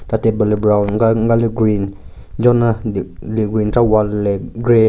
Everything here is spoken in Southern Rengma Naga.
Nka table le brown nka nka le green jonye le le green chera wall le grey .